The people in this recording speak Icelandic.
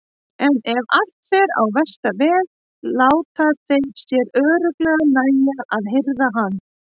En ef allt fer á versta veg láta þeir sér örugglega nægja að hirða hann.